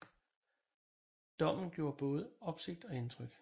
Dommen gjorde både opsigt og indtryk